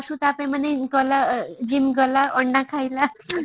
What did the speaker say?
ସେ last କୁ ତା ପାଇଁ ମାନେ ଗଲା gym ଗଲା ଅର ନା ଖାଇଲା